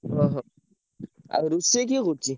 ଓହୋ! ଆଉ ରୋଷେଇ କିଏ କରୁଚି?